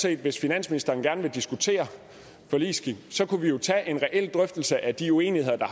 at hvis finansministeren gerne vil diskutere forligsskik kunne vi jo tage en reel drøftelse af de uenigheder der